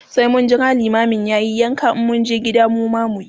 sai mun Jira liman yayi yanka in mun je gida mu ma muyi.